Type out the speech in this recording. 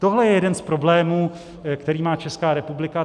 Tohle je jeden z problémů, který má Česká republika.